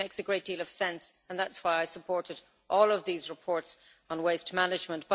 It makes a great deal of sense and that is why I supported all of these reports on waste management.